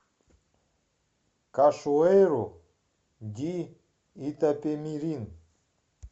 кашуэйру ди итапемирин